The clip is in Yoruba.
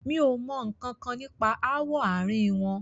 Mi o mọ nkankan nípa ááwọ̀ àárín wọn.